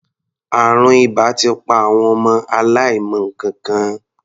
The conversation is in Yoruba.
Àrùn ìbà ti pa àwọn ọmọ aláìmọ nǹkankan.